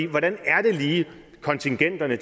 hvordan er det lige kontingenterne